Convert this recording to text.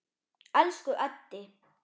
Elsku Eddi.